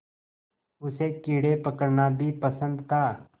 उसे कीड़े पकड़ना भी पसंद था